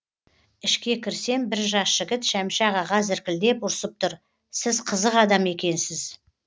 ішке кірсем бір жас жігіт шәмші ағаға зіркілдеп ұрсып тұр сіз қызық адам екенсіз